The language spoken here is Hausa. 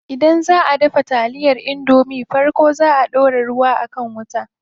Idan zaʼa dafa taliyar indomie farko zaa a ɗora ruwa a kan wuta.